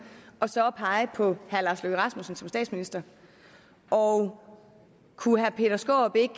og så at pege på herre lars løkke rasmussen som statsminister og kunne herre peter skaarup ikke